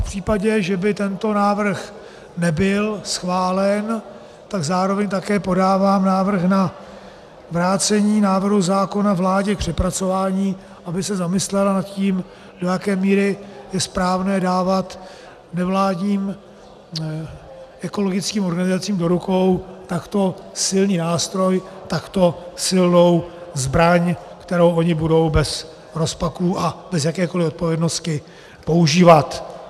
V případě, že by tento návrh nebyl schválen, tak zároveň také podávám návrh na vrácení návrhu zákona vládě k přepracování, aby se zamyslela nad tím, do jaké míry je správné dávat nevládním ekologickým organizacím do rukou takto silný nástroj, takto silnou zbraň, kterou ony budou bez rozpaků a bez jakékoliv odpovědnosti používat.